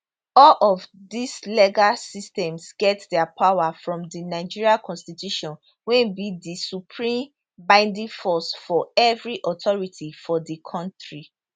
all of dis legal systems get dia power from di nigeria constitution wey be di supreme binding force for every authority for di kontri